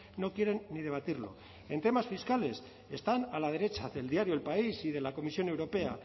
no quieren ni debatirlo en temas fiscales están a la derecha del diario el país y de la comisión europea